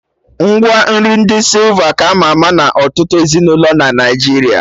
Ngwa nri ndi sịlva ka ama ama na ọtụtụ ezinụlọ na Naijiria